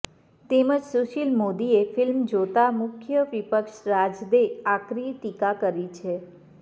તેમજ સુશીલ મોદીએ ફિલ્મ જોતા મુખ્ય વિપક્ષ રાજદે આકરી ટીકા કરી છે